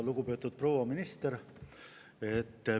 Lugupeetud proua minister!